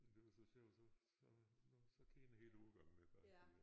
Men det var så sjovt så så nåh så kender hele årgangen mig bare fordi jeg